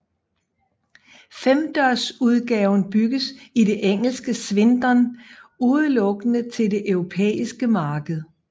Femdørsudgaven bygges i det engelske Swindon udelukkende til det europæiske marked